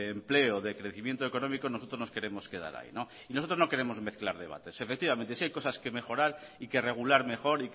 empleo de crecimiento económico nosotros nos queremos quedar ahí y nosotros no queremos mezclar debates efectivamente si hay cosas que mejorar y que regular mejor